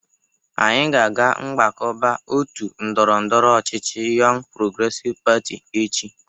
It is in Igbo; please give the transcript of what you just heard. Anyị ga-aga mgbakọba otu ndọrọndọrọ ọchịchị Yọng Progresiv Pati echi